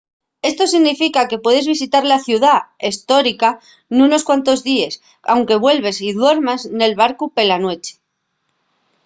esto significa que puedes visitar la ciudá hestórica nunos cuantos díes anque vuelvas y duermas nel barcu pela nueche